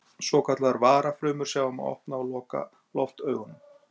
Svokallaðar varafrumur sjá um að opna og loka loftaugunum.